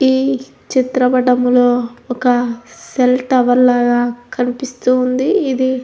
ఈ చిత్ర పటం లో ఒక సెల్ టవర్ లాగా కనిపిస్తూఉంది.